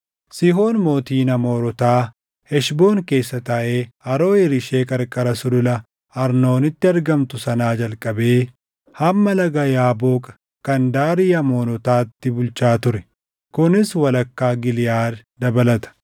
Sihoon mootiin Amoorotaa, Heshboon keessa taaʼee Aroʼeer ishee qarqara sulula Arnoonitti argamtu sanaa jalqabee hamma Laga Yaaboq kana daarii Amoonotaatti bulchaa ture; kunis walakkaa Giliʼaad dabalata.